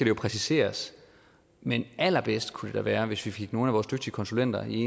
jo præciseres men allerbedst kunne det da være hvis vi fik nogle af vores dygtige konsulenter i